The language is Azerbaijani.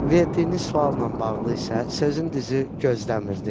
Verdiyiniz sualla bağlı isə sizin dizi gözləmirdim.